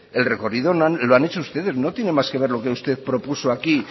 el recorrido lo han hecho ustedes no tiene más que ver lo que usted propuso aquí